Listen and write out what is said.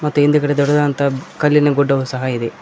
ಮತ್ತು ಹಿಂದ್ಗಡೆ ದೊಡ್ಡದಾದಂತಹ ಕಲ್ಲಿನ ಗುಡ್ಡವು ಸಹ ಇದೆ.